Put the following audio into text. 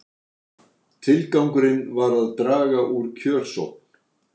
Tilgangurinn var að draga úr kjörsókn